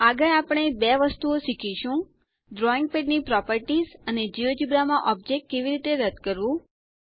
આગળ આપણે બે વધુ વસ્તુઓ શીખીશું ડ્રોઈંગ પેડની પ્રોપેરટીશ અને જિયોજેબ્રા માં ઓબ્જેક્ટ કેવી રીતે રદ કરવું